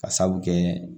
Ka sabu kɛ